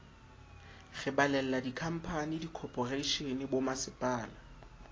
re balella dikhamphani dikhophoreishene bommasepala